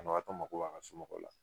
Banabagatɔ mago b'a ka somɔgɔw la